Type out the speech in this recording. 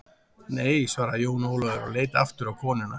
Nei, svaraði Jón Ólafur og leit aftur á konuna.